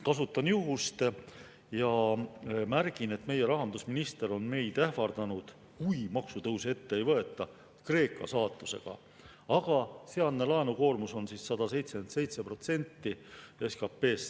Kasutan juhust ja märgin, et meie rahandusminister on meid ähvardanud, kui maksutõuse ette ei võeta, Kreeka saatusega, aga sealne laenukoormus on 177% SKT-st.